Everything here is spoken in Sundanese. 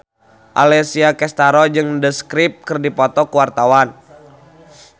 Alessia Cestaro jeung The Script keur dipoto ku wartawan